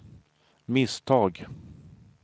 misstag